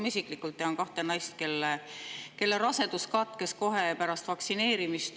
Ma isiklikult tean kahte naist, kelle rasedus katkes kohe pärast vaktsineerimist.